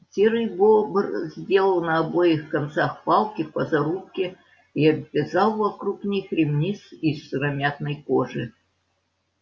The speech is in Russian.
серый бобр сделал на обоих концах палки по зарубке и обвязал вокруг них ремни из сыромятной кожи